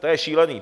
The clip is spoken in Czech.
To je šílený.